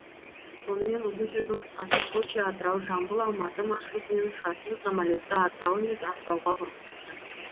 сонымен ұзын сөздің қысқасы сочи атырау жамбыл алматы маршрутымен ұшатын самолетті атырау емес ақтауға бұрғызыпты